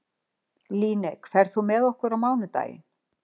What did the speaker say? Líneik, ferð þú með okkur á mánudaginn?